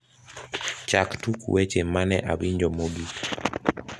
chak tuk weche mane awinjo mogik